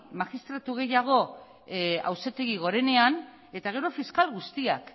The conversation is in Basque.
magistratu gehiago auzitegi gorenean eta gero fiskal guztiak